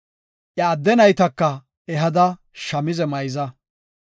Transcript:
Iya adde naytaka ehada shamize mayza.